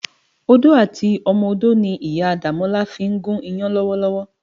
Odó àti ọmọ odó ni Iyá Damola fin gún iyàn lòwòlòwò.